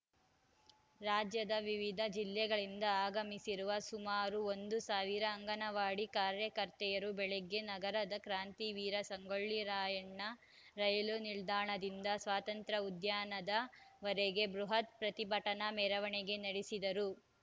ರಾಜ್ಯದ ವಿವಿಧ ಜಿಲ್ಲೆಗಳಿಂದ ಆಗಮಿಸಿರುವ ಸುಮಾರು ಒಂದು ಸಾವಿರ ಅಂಗನವಾಡಿ ಕಾರ್ಯಕರ್ತೆಯರು ಬೆಳಗ್ಗೆ ನಗರದ ಕ್ರಾಂತಿವೀರ ಸಂಗೊಳ್ಳಿ ರಾಯಣ್ಣ ರೈಲು ನಿಲ್ದಾಣದಿಂದ ಸ್ವಾತಂತ್ರ್ಯ ಉದ್ಯಾನದ ವರೆಗೆ ಬೃಹತ್‌ ಪ್ರತಿಭಟನಾ ಮೆರವಣಿಗೆ ನಡೆಸಿದರು